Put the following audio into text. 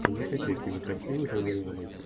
закачай кинокартину в жанре романтик